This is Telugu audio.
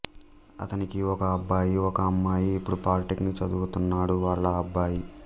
అతనికి ఒక అబ్బాయి ఒక అమ్మాయి ఇప్పుడు పాలిటెక్నిక్ చదువుతున్నాడు వాళ్ళ అబ్బాయి